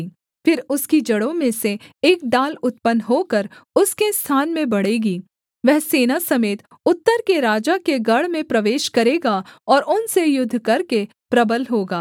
फिर उसकी जड़ों में से एक डाल उत्पन्न होकर उसके स्थान में बढ़ेगी वह सेना समेत उत्तर के राजा के गढ़ में प्रवेश करेगा और उनसे युद्ध करके प्रबल होगा